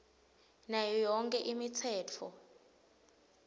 nayo yonkhe imitsetfo